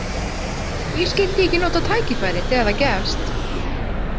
Hví skildi ég ekki nota tækifærið þegar það gefst?